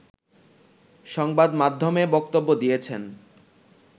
সংবাদমাধ্যমে বক্তব্য দিয়েছেন